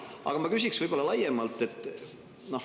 Aga ma küsiks laiemalt.